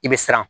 I bɛ siran